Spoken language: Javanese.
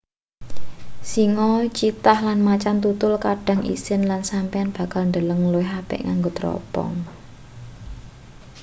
singa cheetah lan macan tutul kadang isin lan sampeyan bakal ndeleng luwih apik nganggo tropong